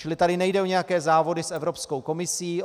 Čili tady nejde o nějaké závody s Evropskou komisí.